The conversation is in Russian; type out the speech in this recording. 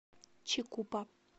чикупа